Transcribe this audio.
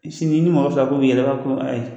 Sini ni mɔgɔ fila k'u bi yɛlɛn u b'a ko ayi.